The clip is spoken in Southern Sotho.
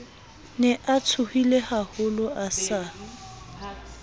ne a tshohilehaholo a sa